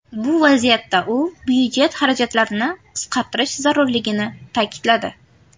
Bu vaziyatda u byudjet xarajatlarini qisqartirish zarurligini ta’kidladi.